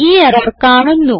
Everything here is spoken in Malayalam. ഈ എറർ കാണുന്നു